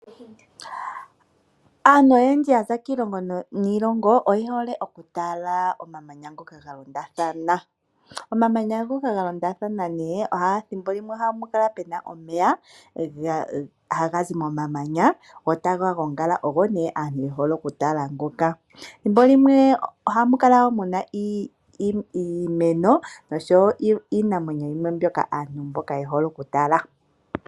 Aantu oyendji ya za kiilongo niilongo oye hole okutala omamanya ngoka ga londathana. Omamanya ngoka ga londathana ethimbo limwe ohapu kala pu na omeya haga zi momamanya go taga gongala, ogo nduno aantu ye hole okutala ngoka. Ethimbo limwe ohamu kala iimeno oshowo iinamwenyo yimwe mbyoka aantu ye hole okutala.